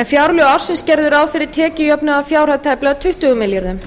en fjárlög ársins gerðu ráð fyrir tekjujöfnun að fjárhæð tæplega tuttugu milljörðum